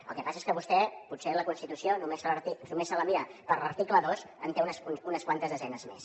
el que passa és que vostè potser la constitució només se la mira per l’article dos en té unes quantes desenes més